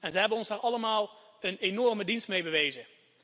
Ze hebben ons daar allemaal een enorme dienst mee bewezen.